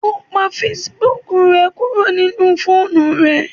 O pa Facebook rẹ kuro ninu foonu rẹ.